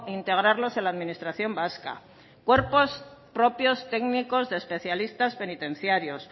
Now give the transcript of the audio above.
integrarlos en la administración vasca cuerpos propios técnicos de especialistas penitenciarios